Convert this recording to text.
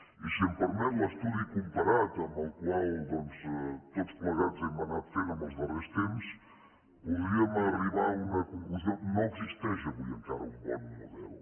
i si em permet l’estudi comparat amb el que tots plegats hem anat fent en els darrers temps podríem arribar a una conclusió no existeix avui encara un bon model